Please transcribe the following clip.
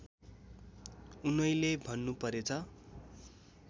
उनैले भन्नुपरेछ